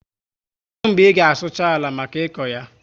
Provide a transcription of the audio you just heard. Kedu mgbe i ga sucha àlà maka ịkọ ya?